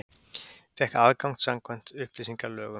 Fékk aðgang samkvæmt upplýsingalögum